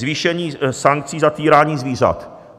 Zvýšení sankcí za týrání zvířat.